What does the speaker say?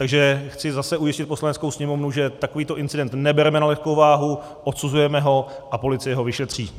Takže chci zase ujistit Poslaneckou sněmovnu, že takovýto incident nebereme na lehkou váhu, odsuzujeme ho a policie ho vyšetří.